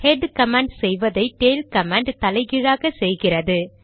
head command செய்வதை tail command தலைகீழாக செய்கிறது